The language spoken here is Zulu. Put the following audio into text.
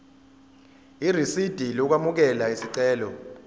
irisidi lokwamukela isicelo